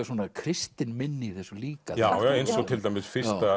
svona kristin minni í þessu líka já eins og til dæmis